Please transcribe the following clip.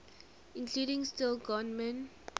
including steve gorman